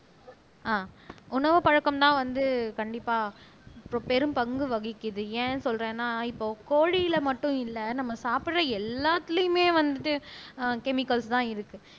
ஆஹ் உணவு பழக்கம்னா வந்து கண்டிப்பா பெரும்பங்கு வகிக்குது ஏன் சொல்றேன்னா இப்போ கோழியில மட்டும் இல்லை நம்ம சாப்பிடுற எல்லாத்திலேயுமே வந்துட்டு ஆஹ் கெமிக்கல்ஸ்தான் இருக்கு